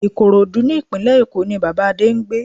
Ìkòròdú ní ìpínlẹ̀ Èkó ní Bàbá Adé ń gbé